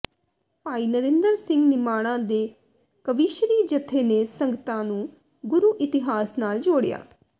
ਭਾਈ ਨਰਿੰਦਰ ਸਿੰਘ ਨਿਮਾਣਾ ਦੇ ਕਵੀਸ਼ਰੀ ਜਥੇ ਨੇ ਸੰਗਤਾਂ ਨੂੰ ਗੁਰੂ ਇਤਿਹਾਸ ਨਾਲ ਜੋੜਿਆ